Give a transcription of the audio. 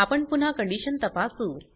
आपण पुन्हा कंडीशन तपासू